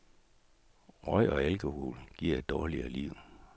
Røg og alkohol giver et dårligere liv.